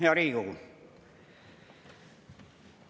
Hea Riigikogu!